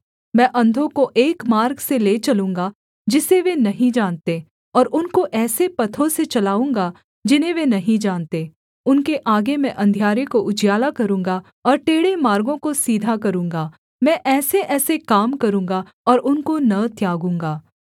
मैं अंधों को एक मार्ग से ले चलूँगा जिसे वे नहीं जानते और उनको ऐसे पथों से चलाऊँगा जिन्हें वे नहीं जानते उनके आगे मैं अंधियारे को उजियाला करूँगा और टेढ़े मार्गों को सीधा करूँगा मैं ऐसेऐसे काम करूँगा और उनको न त्यागूँगा